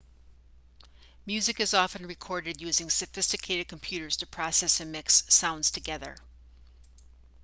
music is often recorded using sophisticated computers to process and mix sounds together